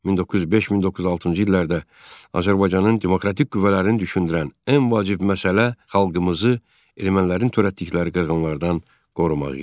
1905-1906-cı illərdə Azərbaycanın demokratik qüvvələrini düşündürən ən vacib məsələ xalqımızı ermənilərin törətdikləri qırğınlardan qorumaq idi.